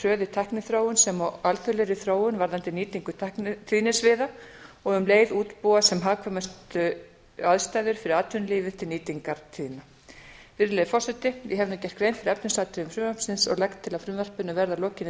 tækniþróun sem og alþjóðlegri þróun varðandi nýtingu tæknitíðnisviða og um leið útbúa sem hagkvæmustu aðstæður fyrir atvinnulífið til nýtingar tíðna virðulegi forseti ég hef nú gert grein fyrir efnisatriðum frumvarpsins og legg til að frumvarpinu verði að lokinni